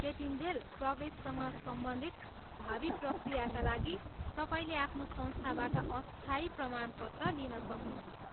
त्यतिन्जेल, प्रवेशसँग सम्बन्धित भावी प्रक्रियाका लागि, तपाईँलेे आफ्नो संस्थाबाट अस्थायी प्रमाणपत्र लिन सक्नुहुन्छ।